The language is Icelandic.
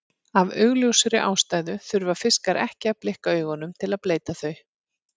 Af augljósri ástæðu þurfa fiskar ekki að blikka augunum til að bleyta þau.